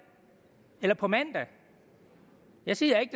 eller til på mandag jeg siger ikke